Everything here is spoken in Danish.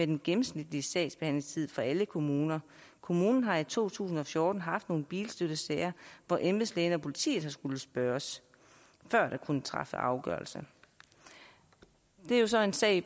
den gennemsnitlige sagsbehandlingstid for alle kommuner kommunen har i to tusind og fjorten haft nogle bilstøttesager hvor embedslægen og politiet har skullet spørges før der kunne træffes afgørelse det er jo så en sag